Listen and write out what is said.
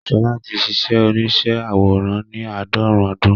Ṣọlá ti ṣíṣe oníṣẹ́ àwòrán ní àádọ́rùn-ún ọdún